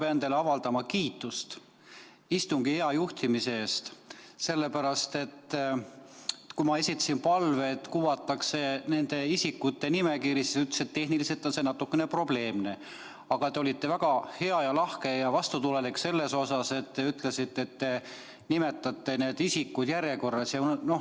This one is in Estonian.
Ma pean teile avaldama kiitust istungi hea juhtimise eest, sellepärast et kui ma esitasin palve, et kuvataks küsijate nimekiri, siis te ütlesite, et tehniliselt on see natukene probleemne, aga te olite väga lahke ja vastutulelik ning ütlesite, et loete need isikud järjekorras ette.